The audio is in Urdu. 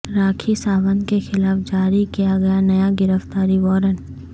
راکھی ساونت کے خلاف جاری کیا گیا نیا گرفتاری وارنٹ